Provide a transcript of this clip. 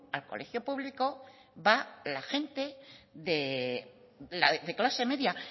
al colegio público va la gente de clase media